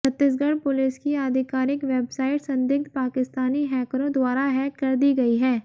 Chhattisgarh police की आधिकारिक website संदिग्ध पाकिस्तानी हैकरों द्वारा हैक कर दी गई है